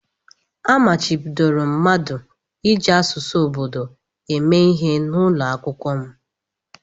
A machibidoro mmadụ iji asụsụ obodo eme ihe n'ụlọ akwụkwọ m.